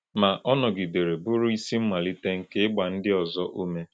Ma, ọ nọgidere bụrụ isi mmalite nke ịgba ndị ọzọ ume.